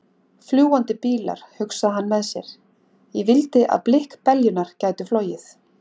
Fljúgandi bílar, hugsaði hann með sér, ég vildi að blikkbeljurnar gætu flogið.